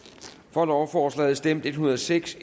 for lovforslaget stemte en hundrede og seks